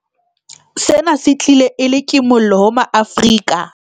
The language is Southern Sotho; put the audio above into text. Sena se tlile e le kimollo ho maAfrika